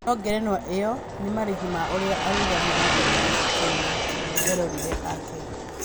No ngerenwa ĩyo nĩ marĩhi ma ũrĩa arũgamirie kĩrabu kĩu na eroreri ake